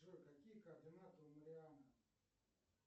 джой какие координаты у мариана